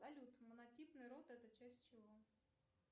салют монотипный род это часть чего